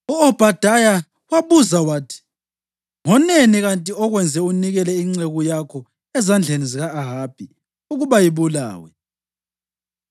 U-Obhadaya wabuza wathi, “Ngoneni kanti okwenza unikele inceku yakho ezandleni zika-Ahabi ukuba ibulawe?